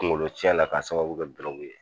Kungolo cɛn la k'a sababu kɛ ye.